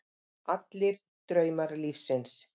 Allir draumar lífsins.